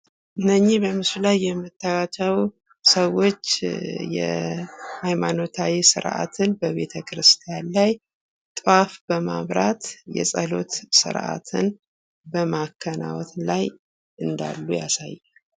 እነኝህ በምስሉ ላይ የምታዪቸው ሰዎች የሃይማኖታዊ ስርዓትን በቤተ ክርስቲያን ላይ ጦዋፍ በማብራት የጸሎት ስርአትን በማከናወን ላይ እንዳሉ ያሳያል።